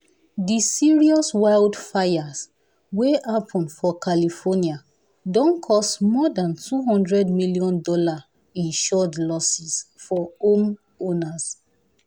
the serious wildfires wey happen for california don cause more than $200 million insured losses for homeowners.